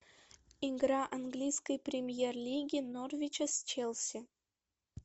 игра английской премьер лиги норвича с челси